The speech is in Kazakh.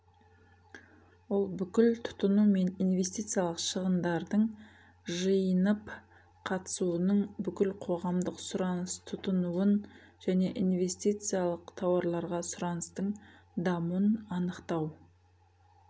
ол бүкіл тұтыну және инвестициялық шығындардың жиынып қалыптасуының бүкіл қоғамдық сұраныс тұтынуын және инвестициялық тауарларға сұраныстың дамуын анықтау